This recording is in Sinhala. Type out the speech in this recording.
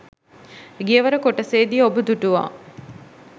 ගියවර කොටසේදී ඔබ දුටුවා.